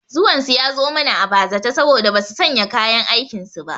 Zuwan su ya zo mana a bazata saboda basu sanya kayan aikin su ba